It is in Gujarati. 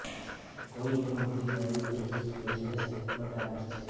કોટ ઉપર મધ્ય જાંઘ માટે ચુસ્ત પેન્ટ સાથે સંયુક્ત માટે આદર્શ છે